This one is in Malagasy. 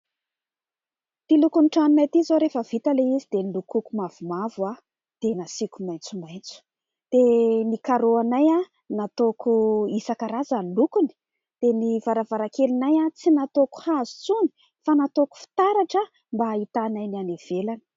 Ity lokon'ny tranonay ity izao rehefa vita ilay izy dia nolokoko mavomavo dia nasiako maitsomaitso, dia ny "carreaux" anay nataoko isankarazany ny lokony, dia ny varavarakelinay tsy nataoko hazo intsony fa nataoko fitaratra mba hahitanay ny any ivelany.